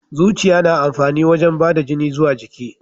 Zuciya na amfani wajen bada da jini zuwa jiki.